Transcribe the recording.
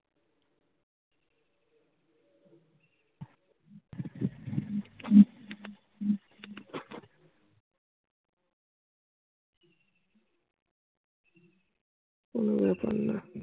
কোনো ব্যা পার না।